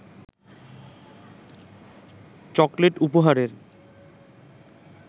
chocolate উপহারের